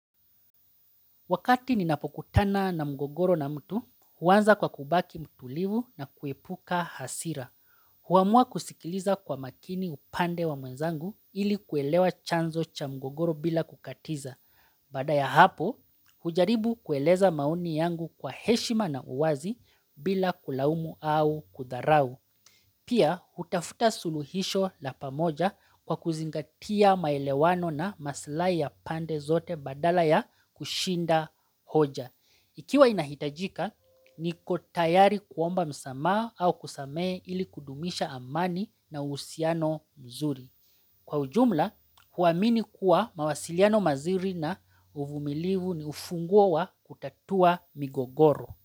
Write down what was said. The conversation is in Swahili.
Wakati ninapokutana na mgogoro na mtu, huanza kwa kubaki mtulivu na kuepuka hasira. Huamua kusikiliza kwa makini upande wa mwenzangu ili kuelewa chanzo cha mgogoro bila kukatiza. Baada ya hapo, hujaribu kueleza maoni yangu kwa heshima na uwazi bila kulaumu au kudharau. Pia, hutafuta suluhisho la pamoja kwa kuzingatia maelewano na maslahi ya pande zote badala ya kushinda hoja. Ikiwa inahitajika, niko tayari kuomba msamaha au kusamehe ili kudumisha amani na uhusiano mzuri. Kwa ujumla, huamini kuwa mawasiliano mazuri na uvumilivu ni ufunguo wa kutatua migogoro.